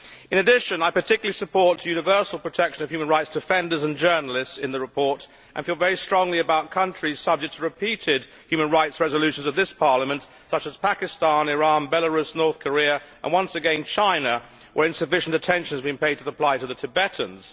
In addition, I particularly support the universal protection of human rights defenders and journalists in the report and feel very strongly about countries subject to repeated human rights resolutions of this Parliament, such as Pakistan, Iran, Belarus, North Korea and, once again, China, where insufficient attention is being paid to the plight of the Tibetans.